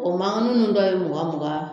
O mankanninw dɔ ye mugan-mugan